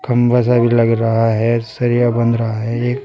खंभा सा भी लग रहा है सरिया बंध रहा है एक।